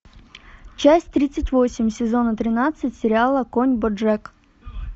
часть тридцать восемь сезона тринадцать сериала конь боджек